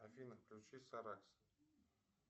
афина включи саракс